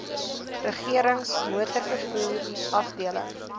regerings motorvervoer afdeling